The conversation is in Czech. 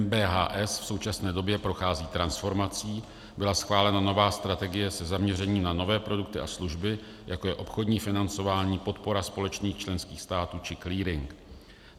MBHS v současné době prochází transformací, byla schválena nová strategie se zaměřením na nové produkty a služby, jako je obchodní financování, podpora společných členských států či clearing.